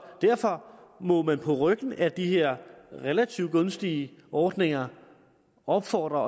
derfor må vi på ryggen af de her relativt gunstige ordninger opfordre